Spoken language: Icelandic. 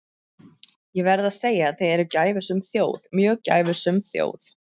Ég verð að segja að þið eruð gæfusöm þjóð, mjög gæfusöm þjóð.